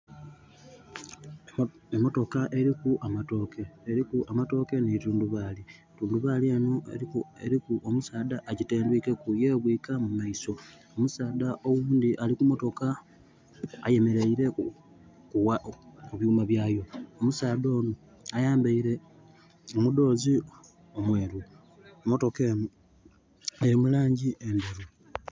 Emotoka eliku amatooke. Eliku amatooke ni tundubaali. Tundubaali enho eliku omusaadha agitendwikeku, yebwiika mu maiso. Omusaadha oghundi ali ku motoka ayemeleire ku byuuma byayo. Omusaadha onho ayambaile omudhoozi omweeru. Motoka enho eli mu laangi endheru.